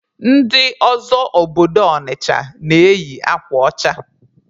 Ndị ọzọ obodo Ọnịcha na-eyi akwa ọcha.